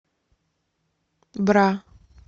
бра